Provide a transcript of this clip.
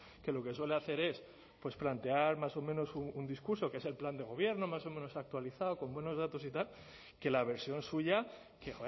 que lo que suele hacer es pues plantear más o menos un discurso que es el plan de gobierno más o menos actualizado con buenos datos y tal que la versión suya que